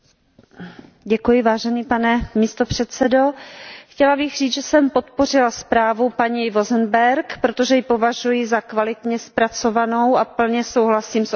Pane předsedající, chtěla bych říct, že jsem podpořila zprávu paní Vozembergové, protože ji považuji za kvalitně zpracovanou a plně souhlasím s obsahem této zprávy.